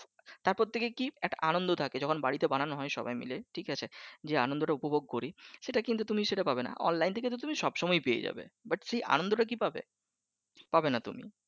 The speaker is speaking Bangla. তারপর থেকে কি একটা আনন্দ থাকে বাড়িতে বানানো হয় সবাই মিলে ঠিকাছে যে আনন্দটা উপভোগ করি সেটা কিন্তু তুমি সেটা পাবে না অনলাইন থেকে তো তুমি সবসময় পেয়ে যাবে but সে আনন্দটাকি পাবে পাবে না তুমি